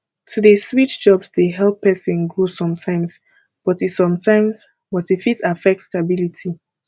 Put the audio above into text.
to dey switch jobs dey help pesin grow sometimes but e sometimes but e fit affect stability